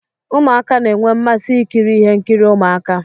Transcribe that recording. Ụmụaka na enwe mmasị ikiri ihe nkiri Ụmụaka.